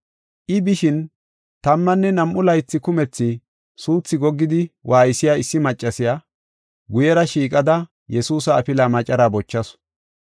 I bishin tammanne nam7u laythi kumethi suuthi goggidi waaysiya issi maccasiya guyera shiiqada Yesuusa afilaa macaraa bochasu.